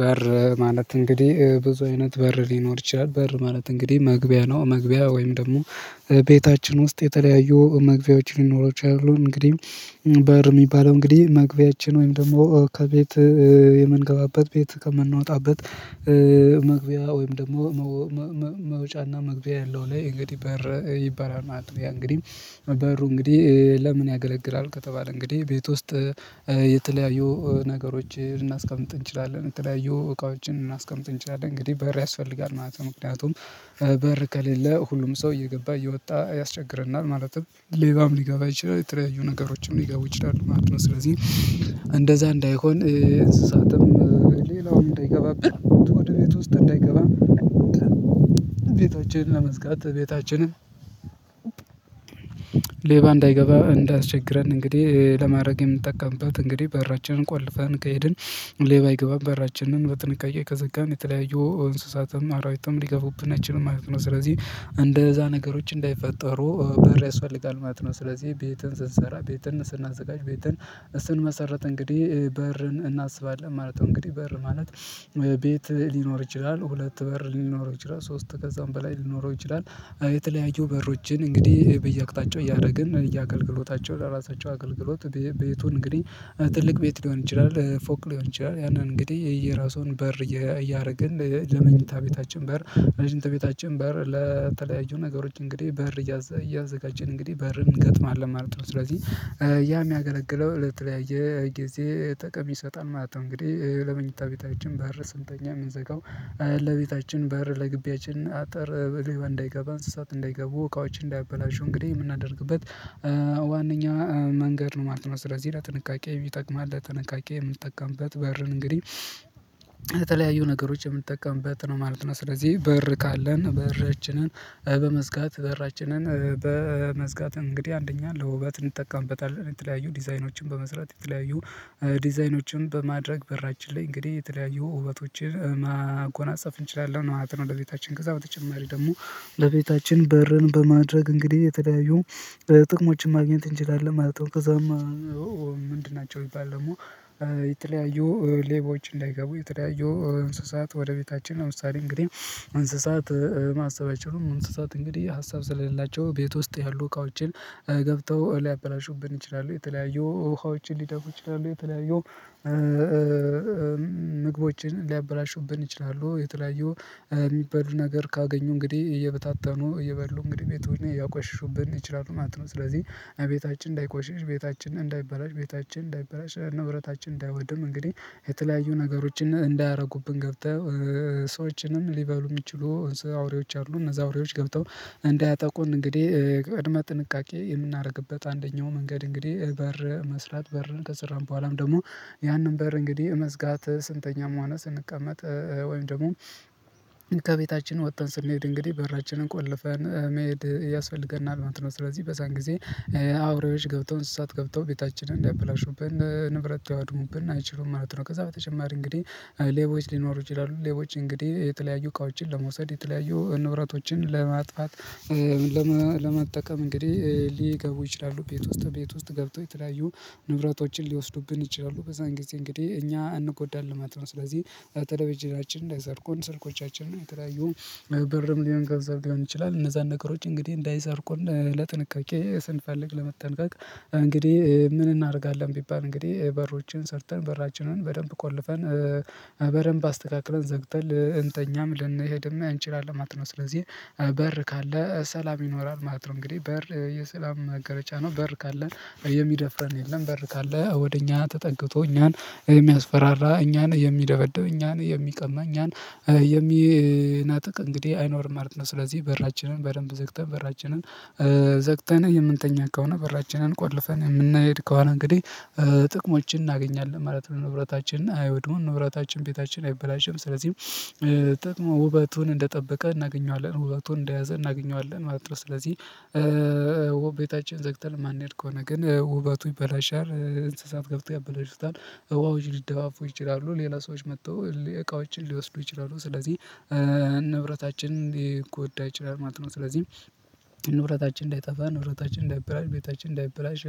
በር ማለት እንግዲህ ብዙ አይነት በር ሊኖር ይችላል በር ማለት እንግዲህ መግቢያ ነው። መግቢያ ወይም ደግሞ ቤታችን ውስጥ የተለያዩ መግቢያዎች ሊኖሩ ይችላሉ። እንግዲህ በር የሚባለው እንግዲህ መግቢያችን ወይም ደግሞ ከቤት የምንገባበት ቤት ከምናወጣበት መግቢያ ወይም ደግሞ መውጫና መግቢያ ያለው ላይ እንግዲህ በር ይባላል ማለት ነው። እንግዲህ በሩ እንግዲህ ለምን ያገለግላል? ከተባለ እንግዲህ ቤት ውስጥ የተለያዩ ነገሮችን እናስቀምጥ እንችላለን የተለያዩ እቃዎችን እናስቀምጥ እንችላለን እንግዲህ በር ያስፈልጋል ማለት ነው። ምክንያቱም በር ከሌለ ሁሉም ሰው እየገባ እየወጣ ያስቸግረናል ማለትም ሌባም ሊገባ ይችላል የተለያዩ ነገሮችም ሊገቡ ይችላሉ ማለት ነው። ስለዚህ እንደዛ እንዳይሆን እንስሳትም ሌላውን እንዳይገባብን ወደ ቤት ውስጥ እንዳይገባም ቤታችንን ለመዝጋት ቤታችንን ሌባ እንዳይገባ እንዳስቸግረን እንግዲህ ለማድረግ የምጠቀምበት እንግዲህ በራችንን ቆልፋን ከሄድን ሌባ ይገባል በራችንን በጥንቃቄ ከዘጋን የተለያየ እንስሳትም አራዊትም ሊገቡብን አይችልም ማለት ነው። ስለዚህ እንደዛ ነገሮች እንዳይፈጠሩ በር ያስፈልጋል ማለት ነው። ስለዚህ ቤትን ስንሰራ ቤትን ስናዘጋጅ ቤትን ስንመሰረት እንግዲህ በርን እናስባለን ማለት ነው። እንግዲህ በር ማለት ቤት ሊኖር ይችላል ሁለት በር ሊኖር ይችላል ሶስት ከዛም በላይ ሊኖረው ይችላል። የተለያዩ በሮችን እንግዲህ በየአቅጣጫው እያደረግን እና እያገለገሎታቸው ለራሳቸው አገልግሎት ቤቱን እንግዲህ ትልቅ ቤት ሊሆን ይችላል ፎቅ ሊሆን ይችላል ያንን እንግዲህ የየራሱን በር እያደረግን ለመኝታ ቤታችን በር ለመኝታ ቤታችን በር ለተለያዩ ነገሮች እንግዲህ በር እያዘጋጀን እንግዲህ በርን እንገጥማለን ማለት ነው። ስለዚህ ያ የሚያገለግለው ለተለያየ ጊዜ ጠቀም ይሰጣል ማለት ነው። እንግዲህ ለመኝታ ቤታችን በር ስንተኛ የምንዘጋው ለቤታችን በር ለግቢያችን አጠር በለባ እንዳይገባ እንስሳት እንዳይገቡ እቃዎችን እንዳያበላሹ እንግዲህ የምናደርግበት ዋናኛው መንገድ ነው ማለት ነው። ስለዚህ ላይ ጥንቃቄ ይጠቅማል ለጥንቃቄ የምንጠቀምበት በርን እንግዲህ የተለያዩ ነገሮች የምንጠቀምበት ነው ማለት ነው። ስለዚህ በር ካለን በራችንን በመዝጋት በራችንን በመዝጋት እንግዲህ አንደኛን ለውበት እንጠቀምበታለን የተለያዩ ዲዛይኖችን በመስራት የተለያዩ ዲዛይኖችን በማድረግ በራችን ላይ እንግዲህ የተለያዩ ውበቶችን ማጎናጸፍ እንችላለን ነው ለቤታችን ወደ ቤታችን ገዛ በተጨማሪ ደግሞ ለቤታችን በርን በማድረግ እንግዲህ የተለያዩ በጥቅሞችን ማግኘት እንችላለን ማለት ነው። ከዛማ ምንድን ናቸው? የሚባል ደግሞ የተለያዩ ሌቦች እንዳይገቡ የተለያዩ እንስሳት ወደ ቤታችን ለምሳሌ እንግዲህ እንስሳት ማሰባቸውን እንስሳት እንግዲህ ሀሳብ ስለሌላቸው ቤት ውስጥ ያሉ እቃዎችን ገብተው ሊያበላሹብን ይችላሉ የተለያዩ ውሃዎችን ሊደፉ ይችላሉ የተለያዩ ምግቦችን ሊያበላሹብን ይችላሉ የተለያዩ የሚባሉ ነገር ካገኙ እንግዲህ እየበታተኑ እየበሉ እንግዲህ ቤቱን ያቋሽሹብን ይችላሉ ማለት ነው። ስለዚህ እቤታችን እንዳይቆሽሽ ቤታችን እንዳይበላሽ ቤታችን እንዳይበላሽ ንብረታችን እንዳይወድም እንግዲህ የተለያዩ ነገሮችን እንዳያደርጉብን ገብተህ ሰዎችንም ሊበሉ የሚችሉ አውሬዎች አሉ። እነዛ አውሬዎች ገብተው እንዳያጠቁን እንግዲህ ቅድመ ጥንቃቄ የምናደርግበት አንደኛው መንገድ እንግዲህ በር መስራት በርን ከሰራን በኋላም ደግሞ ያንን በር እንግዲህ መዝጋት ስንተኛ መሆን ስንቀመጥ ወይም ደግሞ ከቤታችን ወጥተን ስንሄድ እንግዲህ በራችንን ቆልፈን መሄድ ያስፈልገናል እውነት ነው ስለዚህ በዛን ጊዜ አውሬዎች ገብተው እሳት ገብተው ቤታችንን እንዳያበላሹብን ንብረት ተዋድሙብን አይችሉም ማለት ነው። ከዛ በተጨማሪ እንግዲህ ሌቦች ሊኖሩ ይችላሉ። ሌቦች እንግዲህ የተለያዩ እቃዎችን ለመውሰድ የተለያዩ ንብረቶችን ለማጥፋት ለመጠቀም እንግዲህ ሊገቡ ይችላሉ ቤት ውስጥ ቤት ውስጥ ገብቶ የተለያዩ ንብረቶችን ሊወስዱብን ይችላሉ። በዛን ጊዜ እንግዲህ እኛ አንጎዳል ነው ስለዚህ በተለይ በጀናችን ላይ ዘርቁን ስልኮቻችንን የተዳዩን በርም ሊሆን ገንዘብ ሊሆን ይችላል እነዛን ነገሮች እንግዲህ እንዳይሰርቁን ለጥንቃቄ ስንፈልግ ለመጠንቀቅ እንግዲህ ምን እናደርጋለን ቢባል እንግዲህ በሮችን ሰርተን በራችንን በደንብ ቆልፈን በደንብ አስተካክለን ዘግተን እንተኛም ልንሄድም አንችልም አላማት ነው። ስለዚህ በር ካለ ሰላም ይኖራል ማለት ነው። እንግዲህ በር የሰላም መገለጫ ነው። በር ካለን የሚደፍረን የለም በር ካለ ወደ እኛ ተጠግቶ እኛን የሚያስፈራራ እኛን የሚደበደብ እኛን የሚቀማ እኛን የሚናጠቅ እንግዲህ አይኖርም። አልነበረም ስለዚህ በራችንን በደንብ ዘግተን በራችንን ዘግተን የምንተኛ ከሆነ በራችንን ቆልፈን የምንሄድ ከሆነ እንግዲህ ጥቅሞችን እናገኛለን ማለት ነው። ንብረታችንና አይሁድሙን ንብረታችን ቤታችን አይበላሸም። ስለዚህም ጥቅሙ ውበቱን እንደጠበቀ እናገኘዋለን ውበቱን እንደያዘ እናገኘዋለን ማለት ነው። ስለዚህ ቤታችን ዘግተን ማንሄድ ከሆነ ግን ውበቱ ይበላሻል። እንስሳት ገብቶ ያበላሹታል። እውአው ሊደባፉ ይችላሉ ሌላ ሰዎች መጥተው እቃዎችን ሊወስዱ ይችላሉ። ስለዚህ ንብረታችን ሊጎዳ ይችላል ማለት ነው። ስለዚህ ንብረታችን እንዳይጠፋ ንብረታችን እንዳይበላሽ ቤታችን እንዳይበላሽ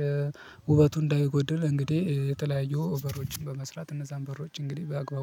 ውበቱ እንዳይጎደል እንግዲህ የተለያዩ በሮችን በመስራት እነዛን በሮች እንግዲህ በአግባቡ